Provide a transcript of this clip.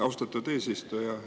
Austatud eesistuja!